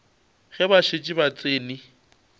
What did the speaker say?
ge ba šetše ba tsene